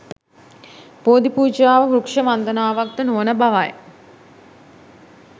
බෝධිපූජාව වෘක්‍ෂ වන්දනාවක් ද නොවන බවයි.